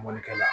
Mɔnikɛla